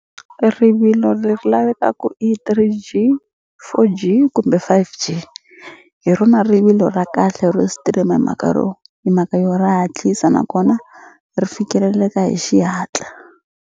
Rivilo leri lavekaka i Three_G Four_G kumbe Five_G hi rona rivilo ra kahle ro stream hi mhaka ro hi mhaka yo ra hatlisa nakona ri fikeleleka hi xihatla.